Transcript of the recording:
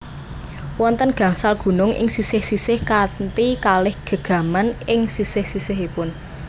Wonten gangsal gunung ing sisih sisih kanthi kalih gegaman ing sisih sisihipun